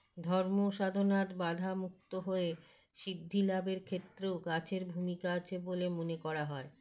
ধর্ম সাধনার বাঁধা মুক্ত হয়ে সিদ্ধিলাভের ক্ষেত্রেও গাছের ভূমিকা আছে বলে মনে করা হয়